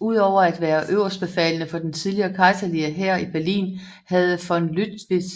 Udover at være øverstbefalende for den tidligere Kejserlige Hær i Berlin havde von Lüttwitz